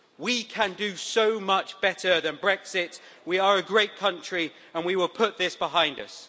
We can do so much better than Brexit, we are a great country and we will put this behind us.